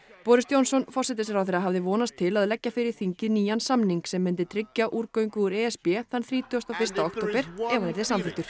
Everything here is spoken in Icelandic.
boris Johnson forsætisráðherra hafði vonast til að leggja fyrir þingið nýjan samning sem myndi tryggja úrgöngu úr e s b þann þrítugasta og fyrsta október ef hann yrði samþykktur